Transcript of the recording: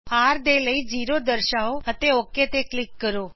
r ਦੇ ਲਈ 0 ਦਰਸ਼ਾਓ ਅਤੇ ਓਕ ਤੇ ਕਲਿਕ ਕਰੋ